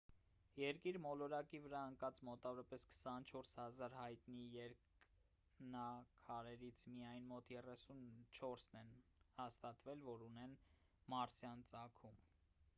երկիր մոլորակի վրա ընկած մոտավորապես 24 000 հայտնի երկնաքարերից միայն մոտ 34-ն են հաստատվել որ ունեն մարսյան ծագում